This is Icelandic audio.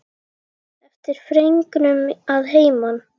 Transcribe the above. Eftir fregnum að heiman.